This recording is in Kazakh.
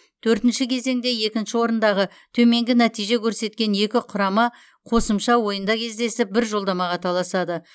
төртінші кезеңде екінші орындағы төменгі нәтиже көрсеткен екі құрама қосымша ойында кездесіп бір жолдамаға таласады